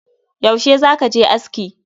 Yaushe zaka je aski?